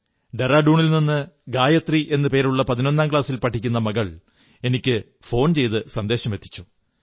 ഡെറാഡൂണിൽ നിന്ന് ഗായത്രി എന്നു പേരുള്ള പതിനൊന്നാം ക്ലാസിൽ പഠിക്കുന്ന മകൾ ഫോൺ ചെയ്ത് ഈ സന്ദേശമെത്തിച്ചു